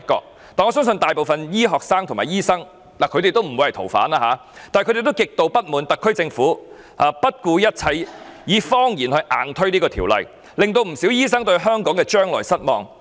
雖然我相信大部分醫科生及醫生皆不會成為逃犯，但他們亦極度不滿意特區政府不顧一切，以謊言硬推有關修訂，以致不少醫生對香港的將來感到失望。